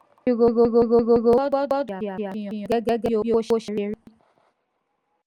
olùsírò owó gbọdọ̀ ṣe àfihàn gangan bí owó ṣe rí.